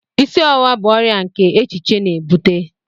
Isi ọwụwa bu ọrịa oke echiche na-ebute